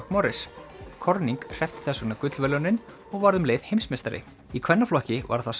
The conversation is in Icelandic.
McMorris corning hreppti þess vegna gullverðlaunin og varð um leið heimsmeistari í kvennaflokki var það